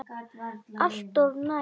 Alltof nærri.